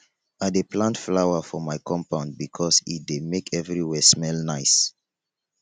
i dey plant flower for my compound because e dey make everywhere smell nice